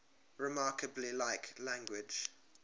remarkably like language